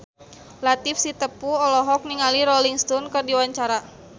Latief Sitepu olohok ningali Rolling Stone keur diwawancara